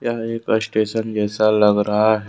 यह एक स्टेशन जैसा लग रहा है।